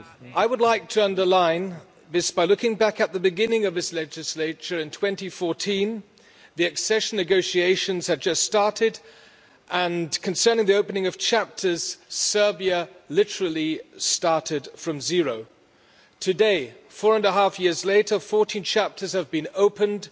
I would like to underline this by looking back at the beginning of this legislature in 2014, when the accession negotiations had just started and, concerning the opening of chapters, Serbia literally started from zero. Today, four and a half years later, 14 chapters have been opened